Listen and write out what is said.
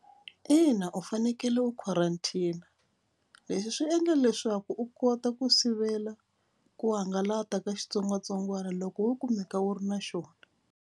Ina u fanekele u quarantine. Leswi swi endla leswaku u kota ku sivela ku hangalaka ka xitsongwatsongwana loko wo kumeka u ri na xona.